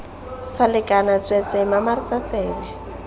sa lekana tsweetswee mamaretsa tsebe